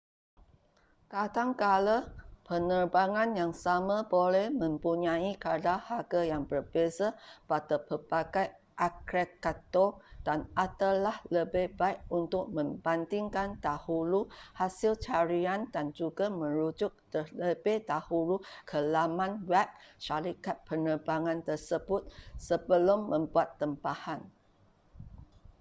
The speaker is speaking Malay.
kadangkala penerbangan yang sama boleh mempunyai kadar harga yang berbeza pada pelbagai agregator dan adalah lebih baik untuk membandingkan dahulu hasil carian dan juga merujuk terlebih dahulu ke laman web syarikat penerbangan tersebut sebelum membuat tempahan